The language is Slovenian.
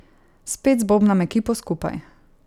Spet zbobnam ekipo skupaj.